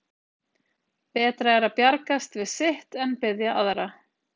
Betra er að bjargast við sitt en biðja aðra.